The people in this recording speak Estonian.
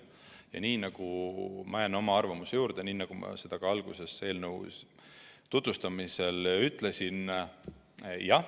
Ja ma jään oma arvamuse juurde, nagu ma juba alguses eelnõu tutvustamisel ütlesin.